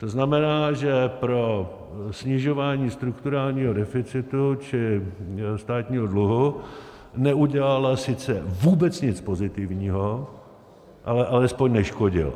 To znamená, že pro snižování strukturálního deficitu, čili státního dluhu, neudělala sice vůbec nic pozitivního, ale alespoň neškodila.